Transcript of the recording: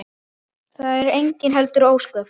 Það eru heldur engin ósköp.